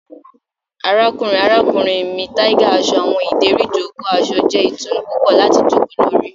Arakunrin arakunrin mi tiger aṣọ awọn ideri ijoko aṣọ jẹ itunu pupọ lati joko lori